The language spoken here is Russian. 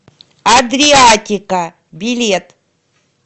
адриатика билет